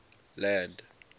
land